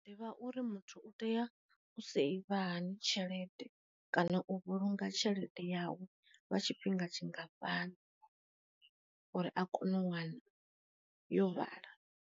Ḓivha uri muthu u tea u seiva hani tshelede kana u vhulunga tshelede yawu vha tshifhinga tshingafhani uri a kone u wana yo vhala.